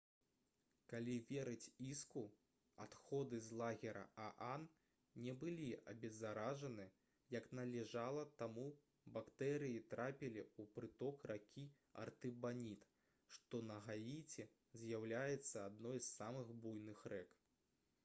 калі верыць іску адходы з лагера аан не былі абеззаражаны як належала таму бактэрыі трапілі ў прыток ракі артыбаніт што на гаіці з'яўляецца адной з самых буйных рэк